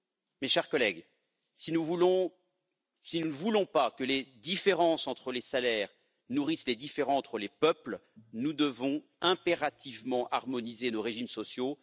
Mes chers collègues, si nous ne voulons pas que les différences entre les salaires nourrissent les différends entre les peuples, nous devons impérativement harmoniser nos régimes sociaux.